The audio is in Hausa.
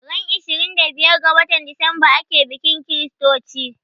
Ran ishirin da biyar ga watan Decemba ake bikin chritochi